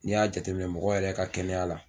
Ni y'a jateminɛ mɔgɔ yɛrɛ ka kɛnɛya la